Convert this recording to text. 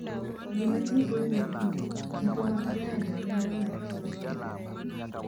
Gima tipo wuokie, tipo mag Gallo Lero mar tipo, .